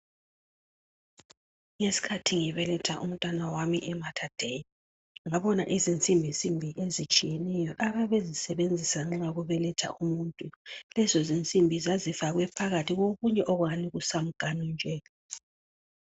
Ngesikhathi ngibeletha umntwana wami ematardei ngabona izinsinbinsimbi ezitshiyeneyo ababezisebenzisa nxa kubeletha umuntu lezo zinsimbi zazifakwe phakathi lokunye okungathi kusamganu nje